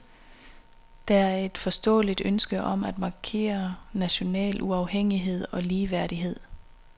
Der er et forståeligt ønske om at markere national uafhængighed og ligeværdighed.